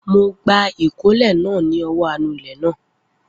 Mo gba ìkólẹ̀ náà ni ọwọ́ anulẹ̀ náà